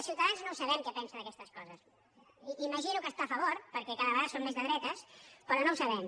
ciutadans no ho sabem què pensa d’aquestes coses imagino que hi esta a favor perquè cada vegada són més de dretes però no ho sabem